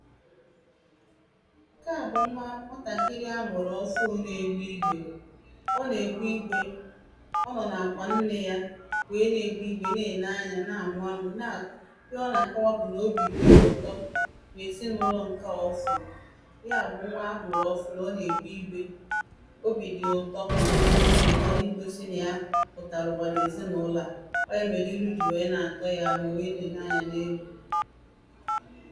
Nke a bụ nwa nwatakịrị a mụrụ ọfụ ná-égbe igbe ọ na-egbe igbe ọ nọ na-akwa nne yà wee na-egbe igbe na-ene anya na-amụ amụ na ihe ọ na-akọwa bụ na obi dị ya ụtọ na-ezinaụlọ nke a ọ fụ ya bụ nwa a mụrụ ọfụ ọ na-egbe igbe obi dị ya ụtọ teaching na i gosi na ya pụtala ụwa na ezinaụlọ a ọ ya melu ilu ji wee na-atọ ya ma o wee na-ene anya na enu